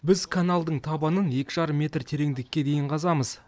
біз каналдың табанын екі жарым метр тереңдікке дейін қазамыз